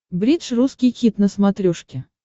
бридж русский хит на смотрешке